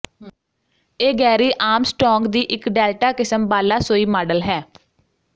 ਇਹ Gary Armstrong ਦੀ ਇੱਕ ਡੈਲਟਾ ਕਿਸਮ ਬਾਲਾਸੋਈ ਮਾਡਲ ਹੈ